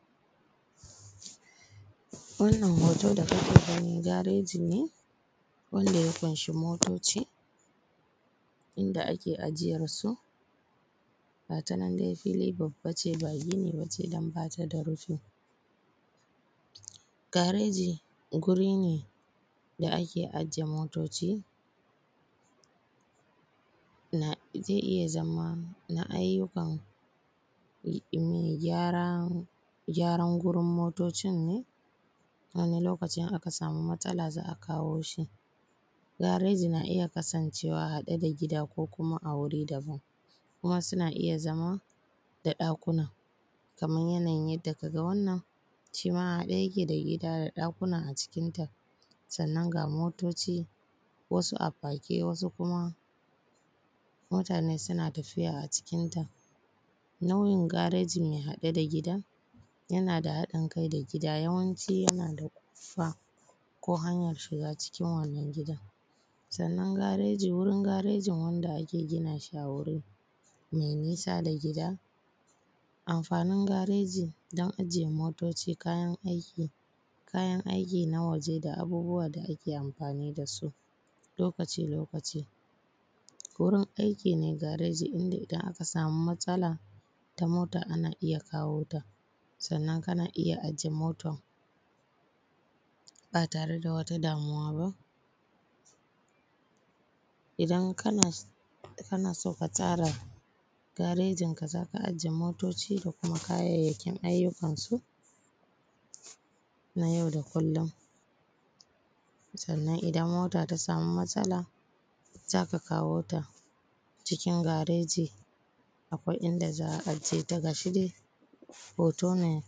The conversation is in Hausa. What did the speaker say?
Wannan hotan da kuke gani gareji ne wanda ya ƙunshi motoci inda ake ajiyansu gata nan dai fili babba ne ba gini ba ce dan ba ta da rufi, gareji wuri ne da ake ajiye motoci zai iya zama na ayyukan gyaran gurin motocin ne, wani lokacin akan samu matsala za a kawo su, gareji na iya kasancewa haɗe da gida ko kuma a wuri daban kuma suna iya zama da ɗakuna kaman yanayin yanda ka ga wannan, shi ma haɗe yake da gida da ɗakuna a cikinta sannan ga motoci wasu a fake wasu kuma mutane suna tafiya a cikinta. Nau’in gareji mai haɗe da gida yana da haɗinkai da gida yawanci yana rumfa ko hanyar shiga cikin wannan gidan, sannan gareji wurin garejin wanda ake gina shi a wuri mai nisa da gida, amfanin gareji dan ajiye motoci, kayan aiki na waje da abubuwa da ake amfani da su lokaci-lokaci, wurin aikin gareji idan aka samu matsala ta mota ana iya kawo ta, sannan kana iya aje motan ba tare da wata damuwa ba; idan kana san ka tsara garejinka za ka aje motoci da kuma kayayyakin ayyukansu na yau da kullum sannan idan mota ta samu matsala za ka kawo ta cikin gareji inda za a aje ta, gashi dai hoto ne.